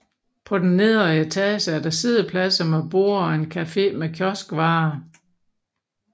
På den nedre etage er der siddepladser med borde og en cafe med kioskvarer